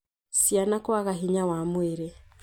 Ciana kwaga hinya wa mwĩrĩ